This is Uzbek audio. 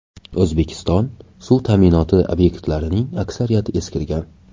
O‘zbekiston suv ta’minoti obyektlarining aksariyati eskirgan.